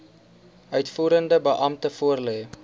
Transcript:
uitvoerende beampte voorlê